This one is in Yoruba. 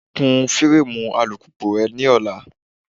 Kún fireemu alùpùpù re lọ́la.